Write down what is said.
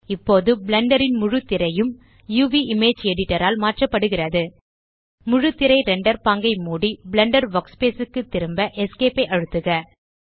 இப்போது பிளெண்டர் ன் முழுத்திரையும் uvஇமேஜ் எடிட்டர் ஆல் மாற்றப்படுகிறது முழுத்திரை ரெண்டர் பாங்கை மூடி பிளெண்டர் வர்க்ஸ்பேஸ் க்கு திரும்ப Esc ஐ அழுத்துக